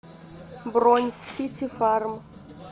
бронь сити фарм